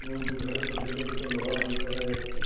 এবং দু ধারে ছোট ছোট দুটো লোহার গেট দেখা যাচ্ছে ।